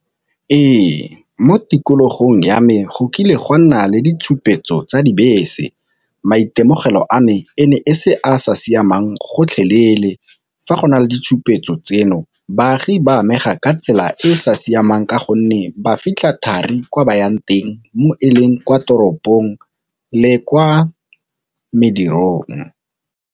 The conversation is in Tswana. Ee mo tikologong ya me go kile gwa nna le ditshupetso tsa dibese, maitemogelo a me e ne e se a sa siamang gotlhelele. Fa go na le ditshupetso tseno baagi ba amega ka tsela e e sa siamang ka gonne ba fitlha thari kwa bayang teng mo e leng kwa toropong le kwa medirong.